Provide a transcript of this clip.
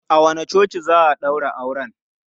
A wanne coci za a ɗaura auren?